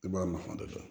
I b'a nafa de dɔn